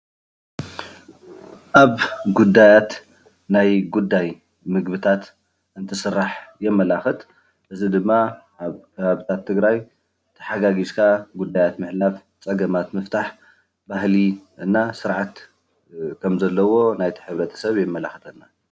ኣብ ጉዳያት ናይ ጉዳይ ምግብታት እንትስራሕ የመላክት፣ እዚ ድማ ኣብ ትግራይ ተሓጋጊዝካ ጉዳያት ምሕላፍ፣ ፀገማት ምፍታም ባህሊ እና ስርዓት ከም ዘለዎ ናይቲ ሕ/ሰብ የመላክተና፡፡